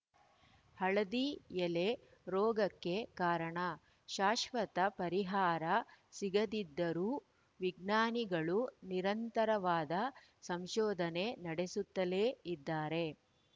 ಹಳದಿ ಎಲೆ ರೋಗಕ್ಕೆ ಕಾರಣ ಶಾಶ್ವತ ಪರಿಹಾರ ಸಿಗದಿದ್ದರೂ ವಿಜ್ಞಾನಿಗಳು ನಿರಂತರವಾದ ಸಂಶೋಧನೆ ನಡೆಸುತ್ತಲೇ ಇದ್ದಾರೆ